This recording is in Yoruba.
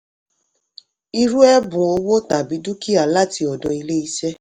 irú ẹ̀bùn owó tàbí dúkìá láti ọ̀dọ̀ ilé-iṣẹ́.